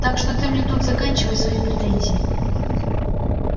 так что ты мне тут заканчивай свои претензии